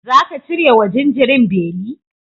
Zaka cire wa jinjirin beli?